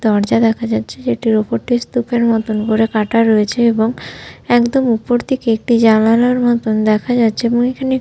দরজা দেখা যাচ্ছে যেটির উপর টি স্তুপ এর মতন করে কাটা রয়েছে এবং একদম উপর থেকে একটি জালানার মতন দেখা যাচ্ছে এবং এখানে এ--